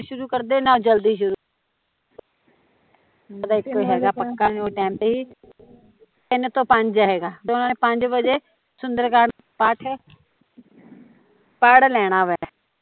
ਨਾ ਲੇਟ ਸ਼ੁਰੂ ਕਰਦੇ ਨਾ ਜਲਦੀ ਸ਼ੁਰੂ ਕਰਦੇ , ਤਿੰਨ ਤੋਂ ਪੰਜ ਹੈਗਾ ਤੇ ਓਹਨਾਂ ਨੇ ਪੰਜ ਵਜੇ ਸੁੰਦਰਕਾਠ ਪਾਠ ਪੜ ਲੈਣਾ ਵਾਂ